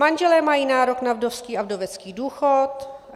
Manželé mají nárok na vdovský a vdovecký důchod.